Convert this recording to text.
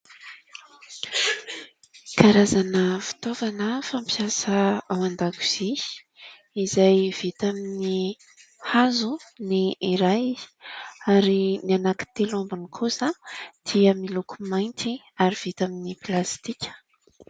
Karazana fitaovana fampiasa ao an-dakozia izay vita amin'ny hazo ny iray ary ny anaky telo ambiny kosa dia miloko mainty ary vita amin'ny plastika.